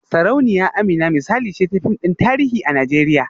Sarauniya Amina misali ce ta fim din tarihi a Najeriya